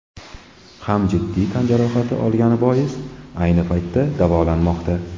ham jiddiy tan jarohati olgani bois, ayni paytda davolanmoqda.